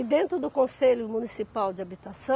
E dentro do conselho municipal de habitação,